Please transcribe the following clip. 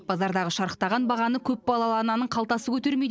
базардағы шарықтаған бағаны көпбалалы ананың қалтасы көтермейді